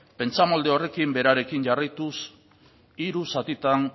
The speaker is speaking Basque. pentsamolde horrekin berarekin jarraituz hiru zatitan